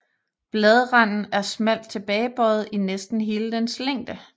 Bladranden er smalt tilbagebøjet i næsten hele dens længde